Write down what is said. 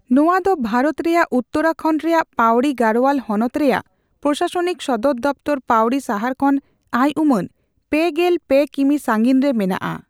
ᱱᱚᱣᱟ ᱫᱚ ᱵᱷᱟᱨᱚᱛ ᱨᱮᱭᱟᱜ ᱩᱛᱛᱚᱨᱟᱠᱷᱚᱸᱰ ᱨᱮᱭᱟᱜ ᱯᱟᱣᱨᱤ ᱜᱟᱲᱳᱣᱟᱞ ᱦᱚᱱᱚᱛ ᱨᱮᱭᱟᱜ ᱯᱨᱚᱥᱟᱥᱚᱱᱤᱠ ᱥᱚᱫᱚᱨ ᱫᱚᱯᱛᱚᱨ ᱯᱟᱹᱣᱨᱤ ᱥᱟᱦᱟᱨ ᱠᱷᱚᱱ ᱟᱭᱩᱢᱟᱹᱱ ᱯᱮᱜᱮᱞ ᱯᱮ ᱠᱤᱢᱤ ᱥᱟᱸᱜᱤᱧ ᱨᱮ ᱢᱮᱱᱟᱜᱼᱟ ᱾